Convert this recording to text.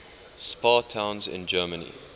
spa towns in germany